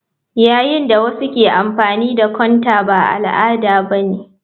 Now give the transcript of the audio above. Yayin da wasu ke amfani da counter ba al'ada ba ne.